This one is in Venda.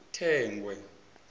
thengwe